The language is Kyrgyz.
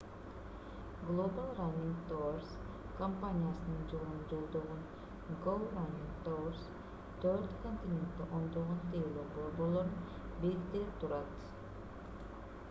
global running tours компаниясынын жолун жолдогон go running tours төрт континентте ондогон тейлөө борборлорун бириктирип турат